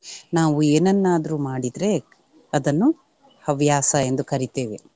ನಾವು ಏನನ್ನಾದ್ರೂ ಮಾಡಿದ್ರೆ ಅದನ್ನು ಹವ್ಯಾಸ ಎಂದು ಕರೀತೇವೆ.